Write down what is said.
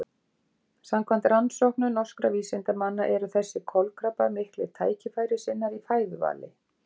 Samkvæmt rannsóknum norskra vísindamanna eru þessir kolkrabbar miklir tækifærissinnar í fæðuvali.